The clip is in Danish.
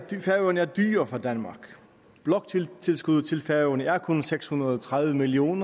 færøerne er dyre for danmark bloktilskuddet til færøerne er kun på seks hundrede og tredive million